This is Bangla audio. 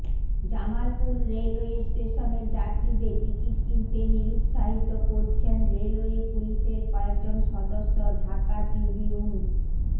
জামালপুর রেলওয়ে স্টেশনে যাত্রীদের টিকিট কিনতে নিরুৎসাহিত করছেন রেলওয়ে পুলিশের কয়েকজন সদস্য ঢাকা ট্রিবিউন